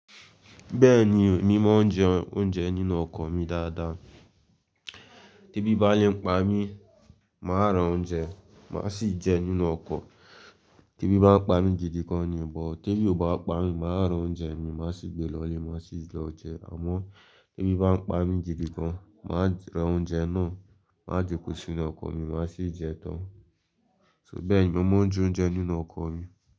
Bẹ́ẹ̀ni, emi máa ń jẹ oúnjẹ nínú ọkọ̀ mi dáadáa. Tẹ́bí bá lè ń pa mí, mà á ra oúnjẹ, mà á sì jẹ nínú ọkọ̀. Tẹ́bí bá ń pa mi jidi gan ni, bọ̀ tẹ́bí ò bá pa mi, mà á ra oúnjẹ mi, màá sì gbe lọ ilé, màá sì lọ jẹẹ́. Àmọ́ tẹ́bí bá ń pa mi jidi gan, mà á ran oúnjẹ náà, mà ási gbé sí inú ọkọ̀ mi, mà á sì jẹ ẹ́ tán. So bẹ́ẹ̀ ni mo máa ń jẹ oúnjẹ nínú ọkọ̀ mi.